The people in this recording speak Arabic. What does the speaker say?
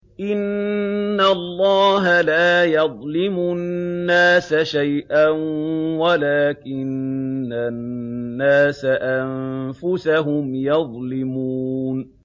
إِنَّ اللَّهَ لَا يَظْلِمُ النَّاسَ شَيْئًا وَلَٰكِنَّ النَّاسَ أَنفُسَهُمْ يَظْلِمُونَ